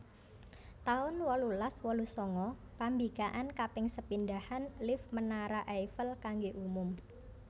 taun wolulas wolu sanga Pambikakan kaping sepindhahan lift Menara Eiffel kanggé umum